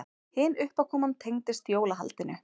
Hin uppákoman tengdist jólahaldinu.